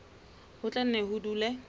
ho tla nne ho dule